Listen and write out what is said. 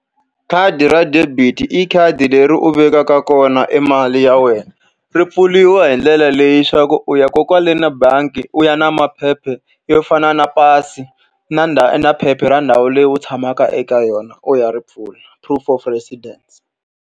Khadi ra debit-i khadi leri u vekaka kona e mali ya wena. Ri pfuriwa hi ndlela leyi leswaku u ya kona kwale ka bangi u ya na maphepha yo fana na pasi, na na phepha ra ndhawu leyi u tshamaka eka yona, u ya ri pfula. Proof of residence.